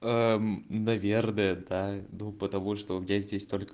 наверное да ну потому что у меня здесь только